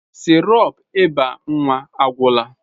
Sirop ịba nwa agwụla.